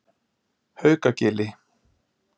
Haukagili